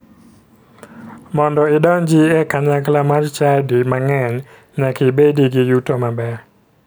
Mondo idonji e kanyakla mar chadi mang'eny, nyaka ibedi gi yuto maber.